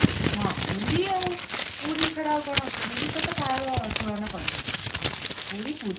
ହଁ ପୁରୀ ଆଉ ପୁରୀ ଛଡା ଆଉ କଣ ପୁରୀ ସହିତ କାହାର ତୁଳନା କରି ହବନି ପୁରୀ ପୁରୀ